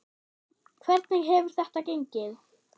Hvernig hefur þetta gengið?